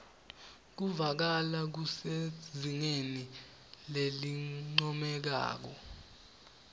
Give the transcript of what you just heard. kuvakala kusezingeni lelincomekako